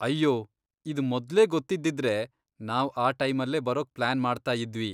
ಅಯ್ಯೋ, ಇದ್ ಮೊದ್ಲೇ ಗೊತ್ತಿದ್ದಿದ್ರೆ ನಾವ್ ಆ ಟೈಮಲ್ಲೇ ಬರೋಕ್ ಪ್ಲಾನ್ ಮಾಡ್ತಾಯಿದ್ವಿ.